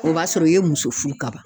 O b'a sɔrɔ i ye muso furu ka ban.